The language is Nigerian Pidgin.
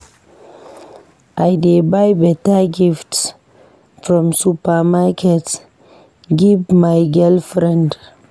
I dey buy beta gift from supermarket give my girlfriend.